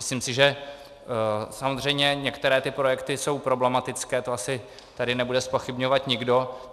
Myslím si, že samozřejmě některé ty projekty jsou problematické, to asi tady nebude zpochybňovat nikdo.